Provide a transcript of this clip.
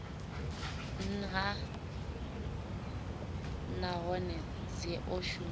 nha nahone dzi o shumiwa